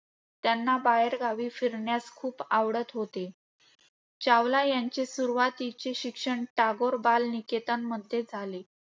त्यांना बाहेरगावी फिरण्यास खूप आवडत होते. चावला यांचे सुरुवतीचे शिक्षण “टागोर बाल निकेतन” मध्ये झाले.